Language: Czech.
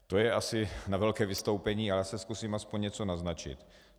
To je asi na velké vystoupení, ale já zkusím aspoň něco naznačit.